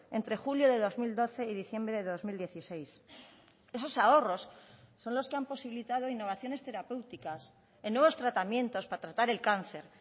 entre julio de dos mil doce y diciembre de dos mil dieciséis esos ahorros son los que han posibilitado innovaciones terapéuticas en nuevos tratamientos para tratar el cáncer